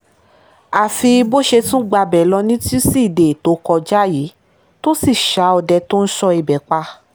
àfi bó ṣe tún gbabẹ̀ lọ ni tusidee tó kọjá yìí tó sì ṣá ọdẹ tó ń sọ ibẹ̀ pa